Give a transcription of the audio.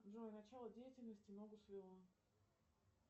джой начало деятельности ногу свело